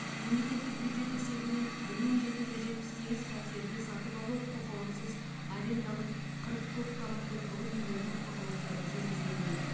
мемлекеттік бюджет есебінен бір мың жеті жүз жетпіс сегіз пәтерлі сатып алу құқығынсыз арендалық қырық көпқабатты тұрғын үйлердің құрылысы жүргізілуде